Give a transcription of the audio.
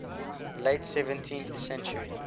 late seventeenth century